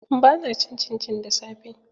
Ba na cin cincin da safe.